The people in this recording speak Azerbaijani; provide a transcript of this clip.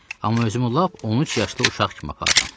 Amma özümü lap 13 yaşlı uşaq kimi aparıram.